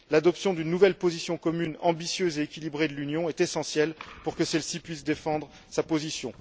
L'adoption d'une nouvelle position commune ambitieuse et équilibrée de l'Union est essentielle pour que celle ci puisse défendre sa position.